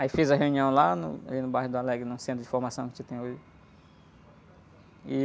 Aí fiz a reunião lá no, ali no bairro do Alegre, num centro de formação que a gente tem hoje.